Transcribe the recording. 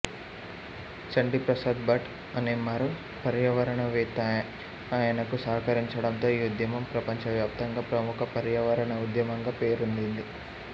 చండీప్రసాద్ భట్ అనే మరో పర్యావరణవేత్త ఆయనకు సహకరించడంతో ఈ ఉద్యమం ప్రపంచవ్యాప్తంగా ప్రముఖ పర్యావరణ ఉద్యమంగా పేరొందింది